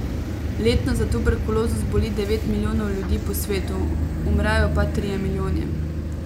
Letno za tuberkulozo zboli devet milijonov ljudi po svetu, umrejo pa trije milijoni.